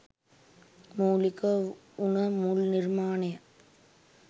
මූලික වුන මුල් නිර්මාණය.